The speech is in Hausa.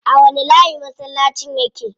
A wani layi masallacin yake?